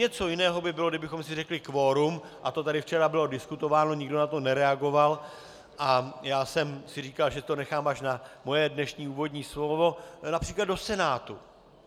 Něco jiného by bylo, kdybychom si řekli kvorum, a to tady včera bylo diskutováno, nikdo na to nereagoval, a já jsem si říkal, že to nechám až na svoje dnešní úvodní slovo, například do Senátu.